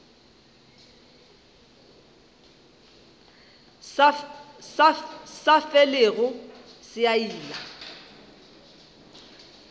sa felego se a ila